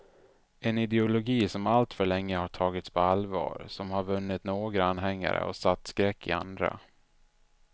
En ideologi som alltför länge har tagits på allvar, som har vunnit några anhängare och satt skräck i andra.